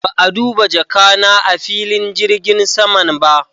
Ba'a duba jaka na a'filin jirgin saman ba.